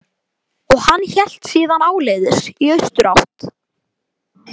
Og hann hélt síðan áleiðis í austurátt.